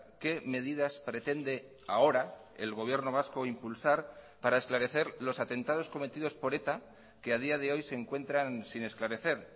qué medidas pretende ahora el gobierno vasco impulsar para esclarecer los atentados cometidos por eta que a día de hoy se encuentran sin esclarecer